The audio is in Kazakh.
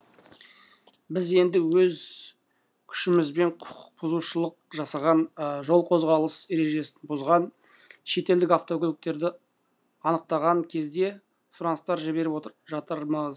біз енді өз күшімізбен құқық бұзушылық жасаған жол қозғалыс ережесін бұзған шетелдік автокөліктерді анықтаған кезде сұраныстар жіберіп жатырмыз